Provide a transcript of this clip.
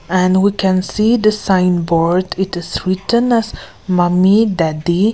and we can see the signboard it is written as mummy daddy --